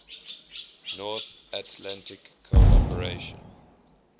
north atlantic cooperation